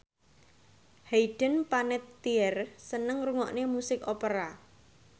Hayden Panettiere seneng ngrungokne musik opera